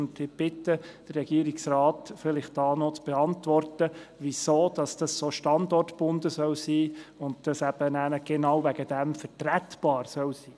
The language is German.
Ich bitte den Regierungsrat, die Frage zu beantworten, weshalb es so stark standortgebunden und genau deshalb vertretbar sein soll.